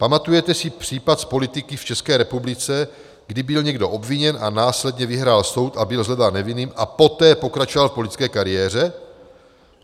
Pamatujete si případ z politiky v České republice, kdy byl někdo obviněn a následně vyhrál soud a byl shledán nevinným a poté pokračoval v politické kariéře?